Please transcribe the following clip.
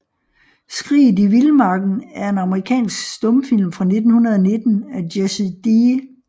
Skriget i Vildmarken er en amerikansk stumfilm fra 1919 af Jesse D